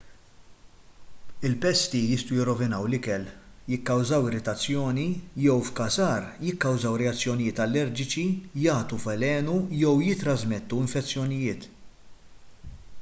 il-pesti jistgħu jirrovinaw l-ikel jikkawżaw irritazzjoni jew f'każ agħar jikkawżaw reazzjonijiet allerġiċi jagħtu velenu jew jittrażmettu infezzjonijiet